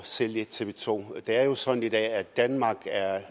sælge tv 2 det er jo sådan i dag at danmark